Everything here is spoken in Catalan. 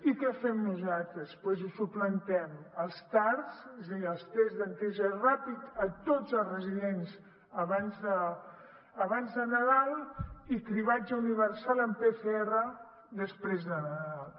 i què fem nosaltres doncs implementem els tars els tests d’antígens ràpids a tots els residents abans de nadal i cribratge universal amb pcr després de nadal